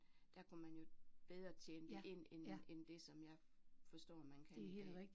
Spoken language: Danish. Der kunne man jo bedre tjene det ind end end det som jeg forstår man kan i dag